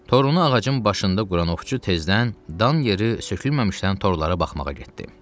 Torunu ağacın başında quran ovçu tezdən dan yeri sökülməmişdən torlara baxmağa getdi.